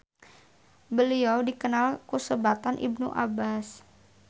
Beliau dikenal ku sebatan Ibnu Abbas.